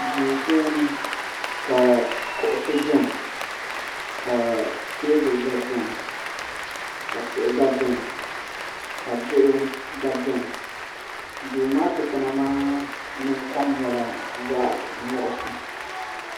duu puuni ka kuɣusi biɛni ka teebuli gba biɛni ka tihi gba biɛni ka diɣi gba biɛni duu maa dikpuna maa nin kom nyɛla zaɣ nuɣsi